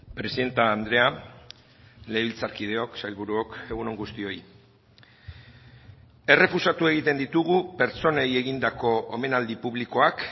presidente andrea legebiltzarkideok sailburuok egun on guztioi errefusatu egiten ditugu pertsonei egindako omenaldi publikoak